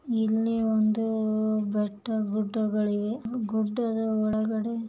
ಇಲ್ಲಿ ಒಂದು ಬೆಟ್ಟ ಗುಡ್ಡಗಲ್ಲಿವೆ ಗುಡ್ಡದ ಒಳಗಡೆ--